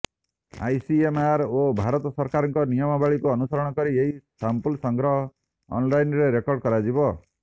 ICMR ଓ ଭାରତ ସରକାରଙ୍କ ନିୟମାବଳୀକୁ ଅନୁସରଣକରି ଏହି ସାମ୍ପଲ୍ ସଂଗ୍ରହ ଅନ୍ଲାଇନ୍ରେ ରେକଡର୍ର୍ କରାଯିବ